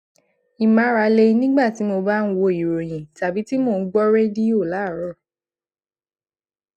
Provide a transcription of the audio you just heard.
ìmárale nígbà tí mo bá ń wo ìròyìn tàbí tí mo ń gbó rédíò láàárò